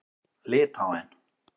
Litháen